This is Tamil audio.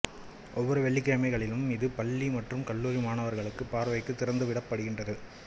ஓவ்வொரு வெள்ளிக்கிழமைகளிலும் இது பள்ளி மற்றும் கல்லூரி மாணவர்களுகள் பார்வைக்கு திறந்து விடப் படுகின்றது